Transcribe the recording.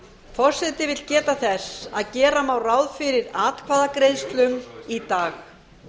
forseti vill geta þess að gera má ráð fyrir atkvæðagreiðslum í dag